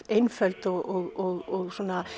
einföld og